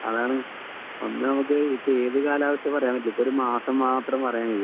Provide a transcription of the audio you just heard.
അതാണ് ഇപ്പൊ നമുക്ക് ഏത് കാലാവസ്ഥയും പറയാൻ കഴിയില്ല ഇപ്പൊ മാസം മാത്രമേ പറയാൻ കഴിയൂ